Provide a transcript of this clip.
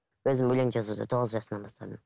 өзім өлең жазуды тоғыз жасымнан бастадым